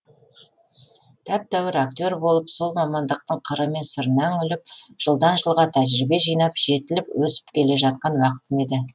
тәп тәуір актер болып сол мамандықтың қыры мен сырына үңіліп жылдан жылға тәжірибе жинап жетіліп өсіп келе жатқан уақытым еді